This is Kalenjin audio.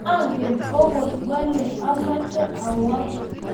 angen agot wele amoche awook